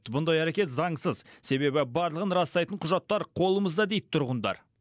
бұндай әрекет заңсыз себебі барлығын растайтын құжаттар қолымызда дейді тұрғындар